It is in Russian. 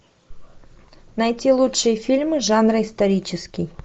найти лучшие фильмы жанра исторический